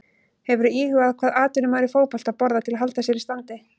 Hefurðu íhugað hvað atvinnumaður í fótbolta borðar til að halda sér í standi?